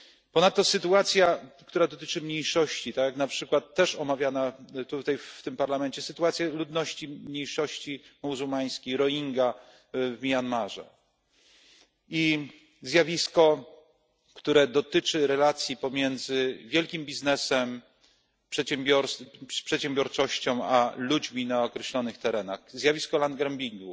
Ponadto sytuacja, która dotyczy mniejszości, tak jak na przykład też omawiana tutaj w tym Parlamencie sytuacja ludności mniejszości muzułmańskiej Rohingja w Mjanmie i zjawisko, które dotyczy relacji pomiędzy wielkim biznesem, przedsiębiorczością a ludźmi na określonych terenach. Zjawisko land grabbingu